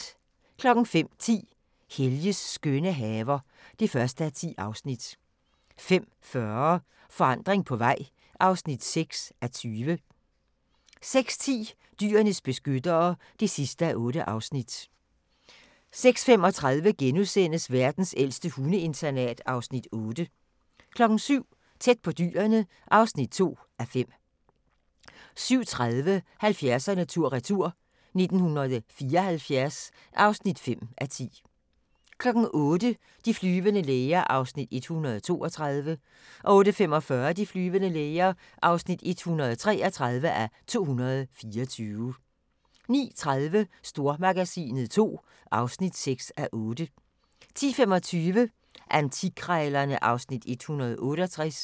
05:10: Helges skønne haver (1:10) 05:40: Forandring på vej (6:20) 06:10: Dyrenes beskyttere (8:8) 06:35: Verdens ældste hundeinternat (Afs. 8)* 07:00: Tæt på dyrene (2:5) 07:30: 70'erne tur-retur: 1974 (5:10) 08:00: De flyvende læger (132:224) 08:45: De flyvende læger (133:224) 09:30: Stormagasinet II (6:8) 10:25: Antikkrejlerne (Afs. 168)